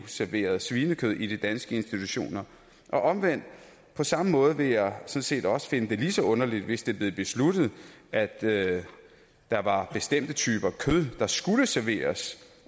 serveres svinekød i de danske institutioner på samme måde vil jeg set også finde det lige så underligt hvis det blev besluttet at at der var bestemte typer kød der skulle serveres